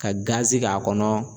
Ka gazi k'a kɔnɔ.